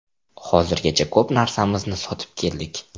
Hozirgacha ko‘p narsamizni sotib keldik.